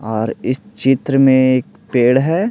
और इस चित्र में एक पेड़ है।